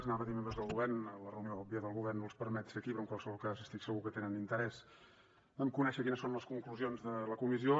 anava a dir membres del govern la reunió òbvia del govern no els permet ser aquí però en qualsevol cas estic segur que tenen interès en conèixer quines són les conclusions de la comissió